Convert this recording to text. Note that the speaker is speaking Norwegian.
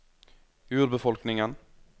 urbefolkningen